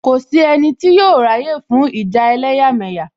Kò sí ẹnì tí yóò ráyè fún ìjà ẹlẹ́yàmẹ̀yà